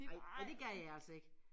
Ej ej det gad jeg altså ikke